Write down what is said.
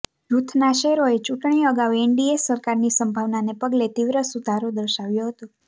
જૂથના શેરોએ ચૂંટણી અગાઉ એનડીએ સરકારની સંભાવનાને પગલે તીવ્ર સુધારો દર્શાવ્યો હતો